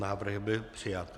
Návrh byl přijat.